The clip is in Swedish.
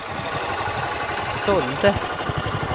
sålde